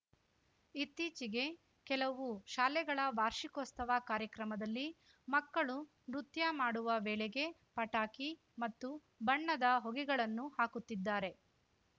ಇತ್ತೀಚೆಗೆ ಕೆಲವು ಶಾಲೆಗಳ ವಾರ್ಷಿಕೋಸ್ತವ ಕಾರ್ಯಕ್ರಮದಲ್ಲಿ ಮಕ್ಕಳು ನೃತ್ಯ ಮಾಡುವ ವೇಳೆಗೆ ಪಟಾಕಿ ಮತ್ತು ಬಣ್ಣದ ಹೊಗೆಗಳನ್ನು ಹಾಕುತ್ತಿದ್ದಾರೆ